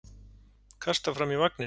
Kastar fram í vagninn.